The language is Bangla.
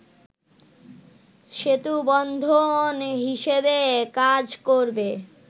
সেতুবন্ধন হিসেবে কাজ করবে